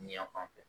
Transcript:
Yan fan fɛ